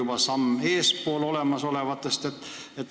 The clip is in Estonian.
Kas meie oleme olemasolevatest sammu eespool?